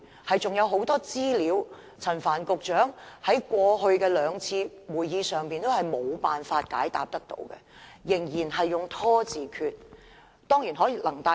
例如陳帆局長在過去兩次的會議上，仍無法提供很多資料，仍然採取"拖字訣"。